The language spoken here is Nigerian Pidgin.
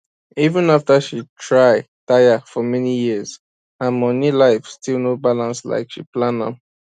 even after she try tire for many years her money life still no balance like she plan am